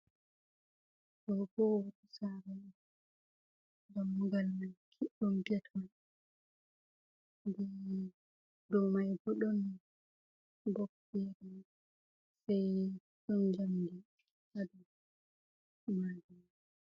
Do ɓo sare damugal ma kiɗɗum gate on, ɗou mai ɓo ɗon ɓoɓ fere sai ɗon jamɗi ha ɗou majuma.